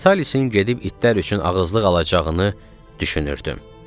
Vitalicin gedib itlər üçün ağızlıq alacağını düşünürdüm.